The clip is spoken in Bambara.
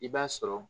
I b'a sɔrɔ